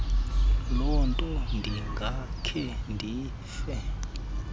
lonto ndingakhe ndife